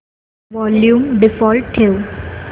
volume default ठेव